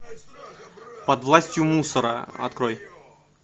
под властью мусора открой